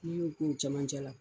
I y'o k'o cɛmancɛ la.